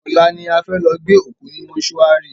Ọ̀la ni a fẹ́ lọ gbé òkú ní mòsúary